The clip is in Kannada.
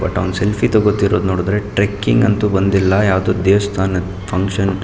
ಬಟ್ ಅವ್ನು ಸೆಲ್ಫಿಯೇ ತೊಗೋತೀರೋದು ನೋಡಿದ್ರೆ ಟ್ರೆಕಿಂಗ್ ಅಂತೂ ಬಂದಿಲ್ಲ ಯಾವುದೊ ದೇವಸ್ಥಾನದ ಫನ್ಕ್ಷನ್ --